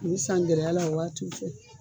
U bɛ san gɛlɛya la o waatiw fɛ